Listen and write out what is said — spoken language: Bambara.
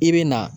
I bɛ na